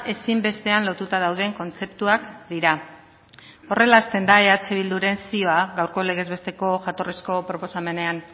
ezinbestean lotuta dauden kontzeptuak dira horrela hasten da eh bilduren zioa gaurko legez besteko jatorrizko proposamenean